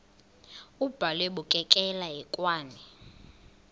abhalwe bukekela hekwane